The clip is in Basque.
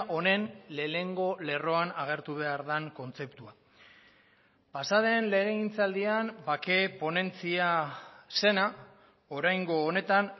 honen lehenengo lerroan agertu behar den kontzeptua pasaden legegintzaldian bake ponentzia zena oraingo honetan